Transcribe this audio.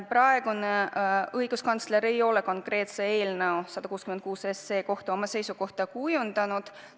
Praegune õiguskantsler ei ole eelnõu 166 kohta seisukohta kujundanud.